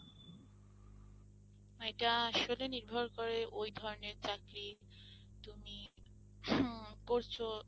এটা আসলে নির্ভর করে ওই ধরনের চাকরি তুমি হম করছো